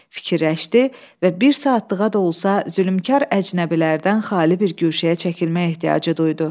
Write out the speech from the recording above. Fikirləşdi və bir saatlığa da olsa zülmkar əcnəbilərdən xali bir guşəyə çəkilmək ehtiyacı duydu.